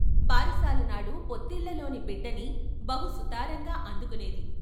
బారసాలనాడు పొత్తిళ్ళలోని బిడ్డని బహు సుతారంగా అందుకునేది.